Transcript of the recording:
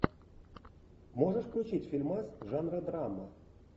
можешь включить фильмас жанра драма